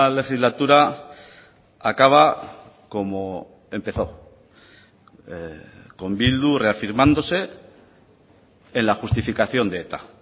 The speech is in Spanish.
legislatura acaba como empezó con bildu reafirmándose en la justificación de eta